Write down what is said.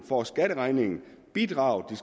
får skatteregningen og bidragene